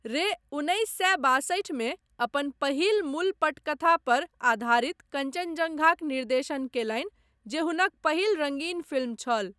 रे उन्नैस सए बासठि मे अपन पहिल मूल पटकथा पर आधारित कञ्चनजङ्घाक निर्देशन कयलनि जे हुनक पहिल रङ्गीन फिल्म छल।